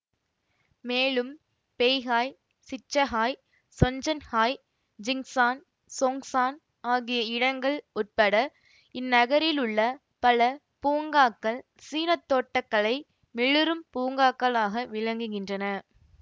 மேலும் Beihai Shichahai Zhongnanhai Jingshan Zhongshan ஆகிய இடங்கள் உட்பட இந்நகரிலுள்ள பல பூங்காக்கள் சீன தோட்ட கலை மிளிரும் பூங்காக்களாக விளங்குகின்றன